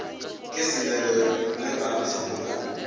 ke selelo ge baagišani ba